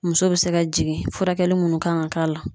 Muso be se ka jigin furakɛli munnu kan ka k'a la